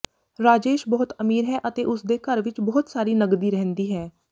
ਰਾਜੇਸ਼ ਬਹੁਤ ਅਮੀਰ ਹੈ ਅਤੇ ਉਸਦੇ ਘਰ ਵਿੱਚ ਬਹੁਤ ਸਾਰੀ ਨਗਦੀ ਰਹਿੰਦੀ ਹੈ